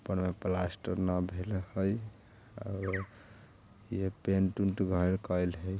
ऊपर में प्लास्टर ना भेल हई और ये पेंट उंट घर कायल हई।